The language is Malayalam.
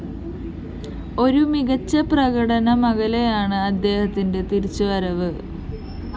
ഒരു മികച്ച പ്രകടനമകലെയാണ് അദ്ദേഹത്തിന്റെ തിരിച്ചുവരവ്